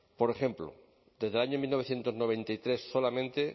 por ejemplo desde el año mil novecientos noventa y tres solamente